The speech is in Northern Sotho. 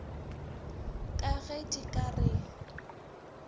ka ge di ka re